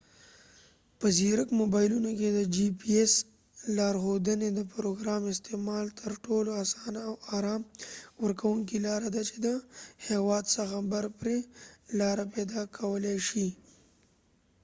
په زیرک موبایلونو کې د جی پي ایس لارښودنې د پروګرام استعمال تر ټولو اسانه او آرام ورکوونکې لاره ده چې د هیواد څخه بهر پرې لاره پیدا کولای شې